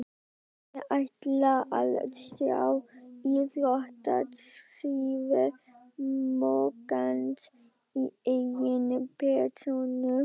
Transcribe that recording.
Ég ætla að sjá íþróttasíðu moggans í eigin persónu.